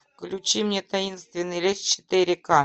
включи мне таинственный лес четыре ка